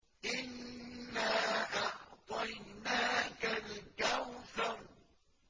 إِنَّا أَعْطَيْنَاكَ الْكَوْثَرَ